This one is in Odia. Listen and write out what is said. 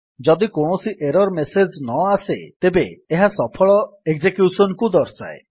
ଯଦି କୌଣସି ଏରର୍ ମେସେଜ୍ ନଆସେ ତେବେ ଏହା ସଫଳ ଏକଜେକ୍ୟୁସନ୍ କୁ ଦର୍ଶାଏ